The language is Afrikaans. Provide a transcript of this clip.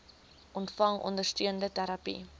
ontvang ondersteunende terapie